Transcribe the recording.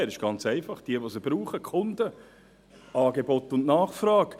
Es ist ganz einfach, es geht um Angebot und Nachfrage.